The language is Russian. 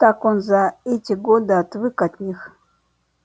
так он за эти годы отвык от них